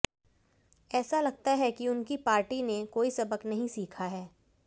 ऐसा लगता है कि उनकी पार्टी ने कोई सबक नहीं सीखा है